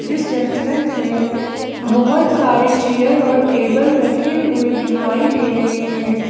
जिस रेस्टोरेंट में बहोत सारे चेयर और टेबल रखे हुए दिखाई दे रहे हैं।